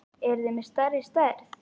Eruð þið með stærri stærð?